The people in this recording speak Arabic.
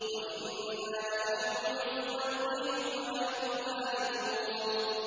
وَإِنَّا لَنَحْنُ نُحْيِي وَنُمِيتُ وَنَحْنُ الْوَارِثُونَ